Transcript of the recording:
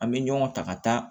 An bɛ ɲɔgɔn ta ka taa